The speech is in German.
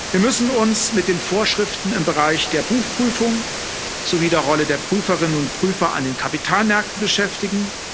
Wir müssen uns mit den Vorschriften im Bereich der Buchprüfung sowie der Rolle der Prüferinnen und Prüfer an den Kapitalmärkten beschäftigen.